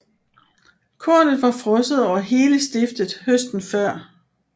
Kornet var frosset over hele stiftet høsten før